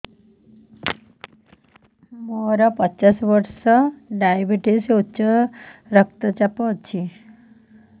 ମୋର ପଚାଶ ବର୍ଷ ଡାଏବେଟିସ ଉଚ୍ଚ ରକ୍ତ ଚାପ ଅଛି